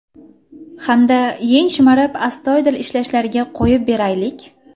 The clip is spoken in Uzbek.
Hamda yeng shimarib astoydil ishlashlariga qo‘yib beraylik.